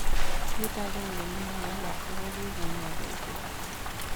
Kiit agenge nemowalaksei ko kikenai koititaa